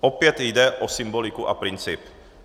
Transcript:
Opět jde o symboliku a princip.